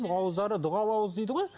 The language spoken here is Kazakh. ауыздары дұғалы ауыз дейді ғой